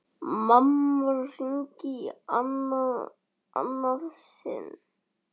Mamma hringir í annað sinn.